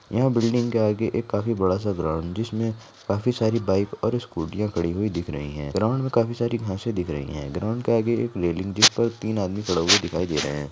यहां बिल्डिंग के आगे काफ़ी बड़ा सा ग्राउंड जिसमे काफी सारी बाइक और स्कुटिया खड़ी हुई दिख रही है ग्राउंड में काफी सारी घासे दिख रही है ग्राउंड के आगे जिस पर तीन आदमी खड़े हुए दिखाई दे रहे है।